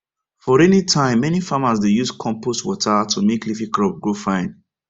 for rainy time many farmers dey use compost water to make leafy crops grow fine